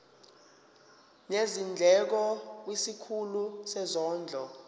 nezindleko kwisikhulu sezondlo